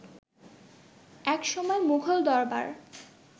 একসময় মুঘল দরবার